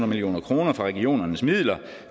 million kroner fra regionernes midler